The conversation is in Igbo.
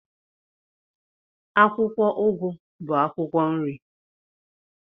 Akwụkwọ ugu bụ akwụkwọ nri.